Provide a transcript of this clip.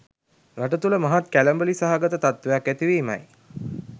රට තුළ මහත් කැළඹිලි සහගත තත්වයක් ඇති වීමයි